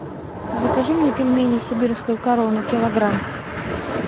закажи мне пельмени сибирскую корону килограмм